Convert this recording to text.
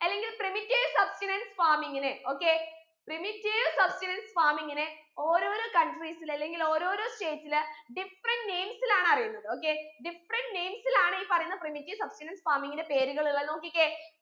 അല്ലെങ്കിൽ primitive substenance farming ന് okayprimitive substenance farming ന് ഓരോരോ countries ൽ അല്ലെങ്കിൽ ഓരോരോ states ൽ different names ലാണ് അറിയുന്നത് okaydifferent names ലാണ് ഈ പറയുന്ന primitive substenance farming ന് പേരുകളുള്ളേ നോക്കിക്കേ